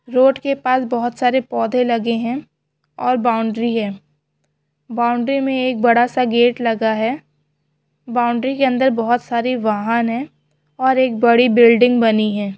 Road के पास बहुत सारे पौधे लगे है और बाउंड्री है बाउंड्री में एक बड़ा सा गेट लगा है बाउंड्री के अंदर बहुत सारी वाहन है और एक बड़ी बिल्डिंग बनी है।